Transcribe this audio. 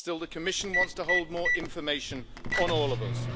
Still, the Commission wants to hold more information on all of us.